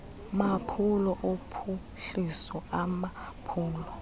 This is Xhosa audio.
maphulo ophuhliso amaphulo